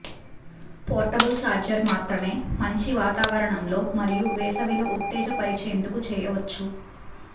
portable charger మాత్రమే మంచి వాతావరణంలో మరియు వేసవిలో ఉత్తేజపరిచేందుకు చేయవచ్చు